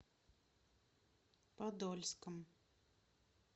подольском